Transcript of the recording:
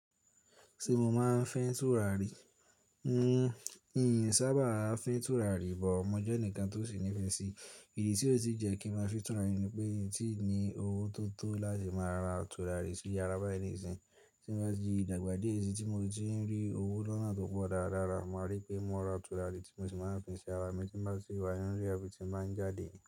Ṣé mo máa ń fín tùràrí? N sábàa ń fín tùràrí but. Mo jẹ́ ẹnìkan tó sì nífẹ̀ẹ́ si. Èyí tí ó ti jẹ́ kí ń máa fín tùràrí ni pé ń tí ì ní owó tó tó láti máa ra tùràrí sí iyára báyìí nísìí. Tí mo bá tí dàgbà díẹ̀ sí tí mo ti ń rí owó lọ́nà tó pọ̀ dáradára, mo máa rí pé mo ra tùràrí tí mo sì máa ń fín sí yára. Mo tí bá ti wá nínú ilé, àbí tí ń báa ń jáde.